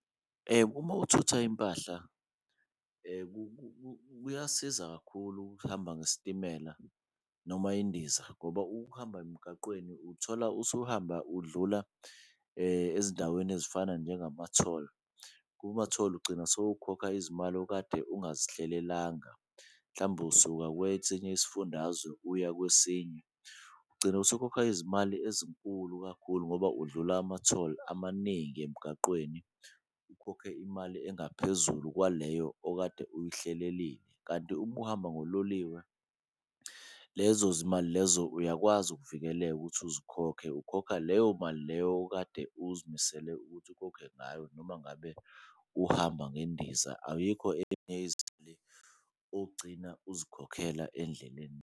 Uma uthutha impahla kuyasiza kakhulu ukuhamba ngesitimela noma indiza ngoba ukuhamba emgaqweni uthola usuhamba udlula ezindaweni ezifana njengamtholi. Kumatholi khona ugcina sowukhokha izimali okade ungazihlelelanga mhlawumbe usuka kwesinye isifundazwe uya kwesinye, ugcine usukhokha izimali ezinkulu kakhulu ngoba udlula amatholi amaningi emgaqweni. Ukhokhe imali engaphezulu kwaleyo okade uyihlelelile kanti umuhamba ngololiwe, lezo zimali lezo uyakwazi ukuvikeleka ukuthi uzikhokhe, ukhokha leyo mali leyo okade uzimisele ukuthi ukhokhe ngayo. Noma ngabe uhamba ngendiza ayikho ezinye izimali ogcina uzikhokhela endleleni.